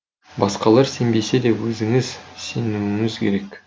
басқалары сенбесе де өзіңіз сенуіңіз керек